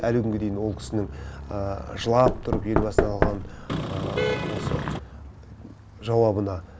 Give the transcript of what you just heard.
әлі күнге дейін ол кісінің жылап тұрып елбасынан алған осы жауабына